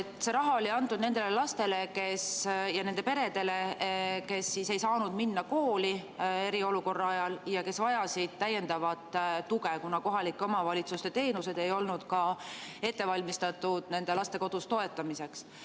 See raha oli antud nendele lastele – ja nende peredele –, kes ei saanud minna eriolukorra ajal kooli ja kes vajasid täiendavat tuge, kuna kohalike omavalitsuste teenused ei olnud ette valmistatud nende laste kodus toetamiseks.